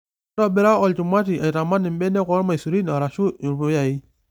Ntobira olchumati aitaman mbenek ormaisurin arashuu irpuyaii.